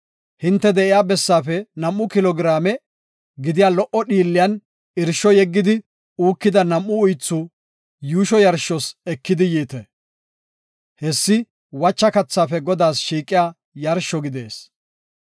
Hinte de7iya bessaafe nam7u kilo giraame gidiya lo77o dhiilliyan irsho yeggidi uukida nam7u uythi yuusho yarshos ekidi yiite. Hessi wacha kathaafe Godaas shiiqiya yarsho gidees.